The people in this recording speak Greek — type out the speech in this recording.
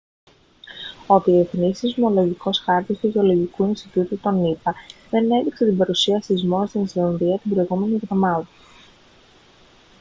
ο διεθνής σεισμολογικός χάρτης του γεωλογικού ινστιτούτου των ηπα δεν έδειξε την παρουσία σεισμών στην ισλανδία την προηγούμενη εβδομάδα